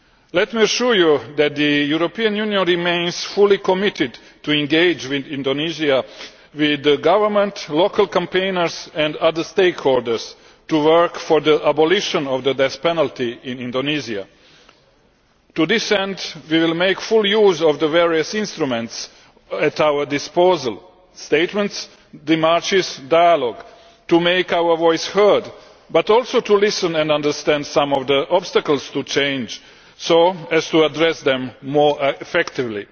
Let me assure you that the European Union remains fully committed to engage in Indonesia with the government, local campaigners and other stakeholders to work for the abolition of the death penalty in Indonesia. To this end, we will make full use of the various instruments at our disposal statements, demarches and dialogue to make our voices heard, but also to listen and understand some of the obstacles to change so as to address them more effectively.